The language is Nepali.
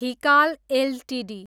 हिकाल एलटिडी